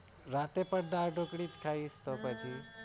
રાતે પણ દાળઢોકળી ખાઈ તો પછી